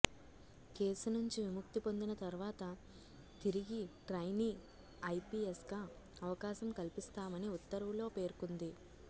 case నుంచి విముక్తి పొందిన తర్వాత తిరిగి ట్రైనీ ఐపీఎస్గా అవకాశం కల్పిస్తామని ఉత్తర్వులో పేర్కొంది